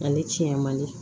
Ani tiɲɛ man di